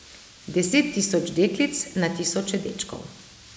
Deset tisoč deklic, na tisoče dečkov.